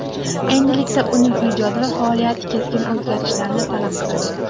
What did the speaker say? Endilikda uning ijodi va faoliyati keskin o‘zgarishlarni talab qiladi.